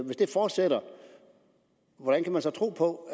hvis det fortsætter hvordan kan man så tro på